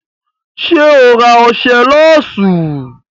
Ṣé o ra ọṣẹ lọ́ọ̀sì?